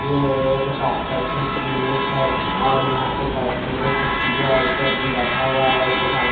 ये एक डॉक्टर की क्लिनिक है और यहां पे बैठने के लिए कुरची भी है और इसमें आदमी बैठे हुए है और उसके सामने--